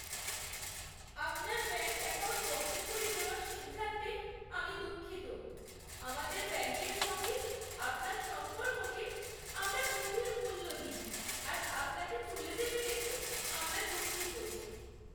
আপনার bank account বন্ধ করে দেওয়ার সিদ্ধান্তে আমি দুঃখিত। আমাদের ব্যাঙ্কের সঙ্গে আপনার সম্পর্ককে আমরা গভীর মূল্য দিই, আর আপনাকে চলে যেতে দেখে আমরা দুঃখিত।